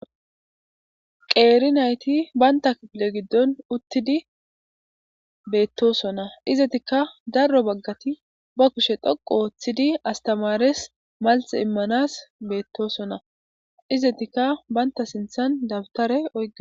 qeeri nayti baynta kipile giddon uttidi beettosonna izatikka darro baggati ba kushe dhoqu ooththidi astamaares maltxe immanas beettosonna izatikka baynta sinthan dabtare o